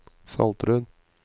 Saltrød